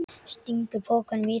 Stingur pokanum í það.